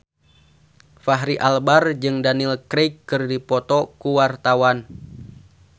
Fachri Albar jeung Daniel Craig keur dipoto ku wartawan